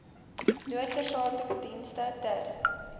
noodsaaklike dienste ter